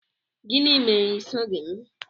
Gịnị mere i soghị m?